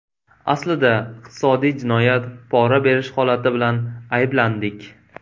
Aslida iqtisodiy jinoyat, pora berish holati bilan ayblandik.